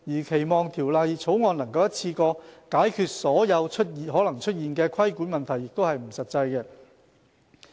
期望《條例草案》能一次過解決所有可能出現的規管問題，是不切實際的。